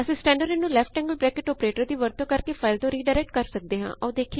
ਅਸੀ ਸਟੈਂਡਰਡਿਨ ਨੂੰ ਓਪਰੇਟਰ ਦੀ ਵਰਤੋਂ ਕਰ ਕੇ ਫਾਇਲ ਤੋ ਰੀਡਾਇਰੈਕਟ ਕਰ ਸਕਦੇ ਹਾਂ